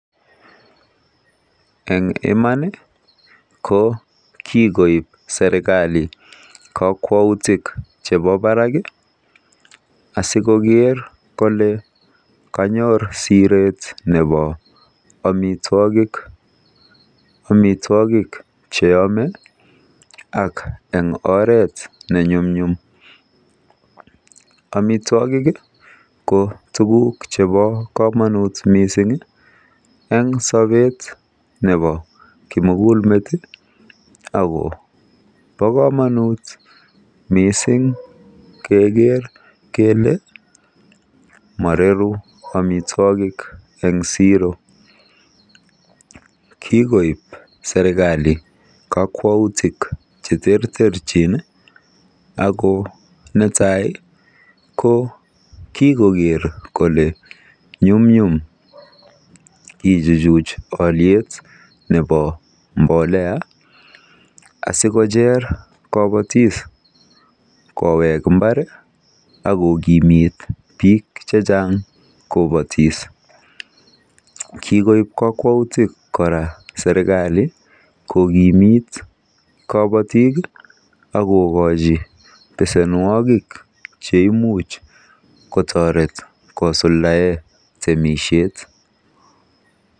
Eng iman ko kikoip serkali kokwautik chebo barak asi koker kole kanyor siret nebo amitwagik che yamei ak eng oret ne nyumnyum. Amitwagik ko tukuk chebo komonut mising eng sobet nebo kimugul met akobo kamonut mising keker kele maroru amitwagik eng siro. Kikoip serkali kakwauik che terterchi. Ako neai ko kikoker kole nyumnyum kechuchuch oliet nebo mbolea asikocher kobotik kowek mbar akokimit biik chechang kopatis. Kikoip kokwautik kora serkali kokimit kabotik ak kokochi besenwogik cheimuch kotoret kosuldae temishet.